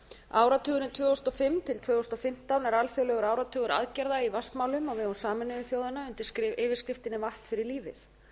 áratugurinn tvö þúsund og fimm til tvö þúsund og fimmtán var alþjóðlegur áratugur aðgerða í vatnsmálum á vegum sameinuðu þjóðanna undir yfirskriftinni vatn fyrir lífið